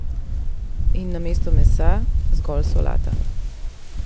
In namesto mesa zgolj solata!